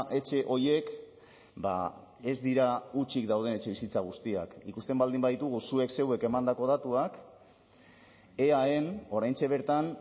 etxe horiek ez dira hutsik dauden etxebizitza guztiak ikusten baldin baditugu zuek zeuek emandako datuak eaen oraintxe bertan